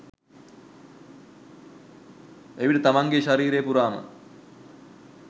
එවිට තමන්ගේ ශරීරය පුරාම